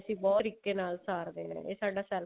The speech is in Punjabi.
ਅਸੀਂ ਭਟ ਤਰੀਕੇ ਨਾਲ ਸਾਰਦੇ ਹਾਂ ਇਹ ਸਾਡਾ self